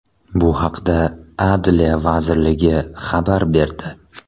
Bu haqda Adliya vazirligi xabar berdi .